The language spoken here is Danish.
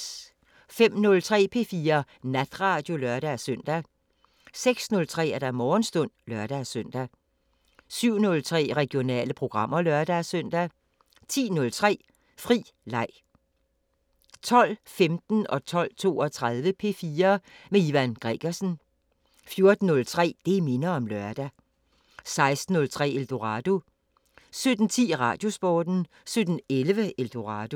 05:03: P4 Natradio (lør-søn) 06:03: Morgenstund (lør-søn) 07:03: Regionale programmer (lør-søn) 10:03: Fri leg 12:15: P4 med Ivan Gregersen 12:32: P4 med Ivan Gregersen 14:03: Det minder om lørdag 16:03: Eldorado 17:10: Radiosporten 17:11: Eldorado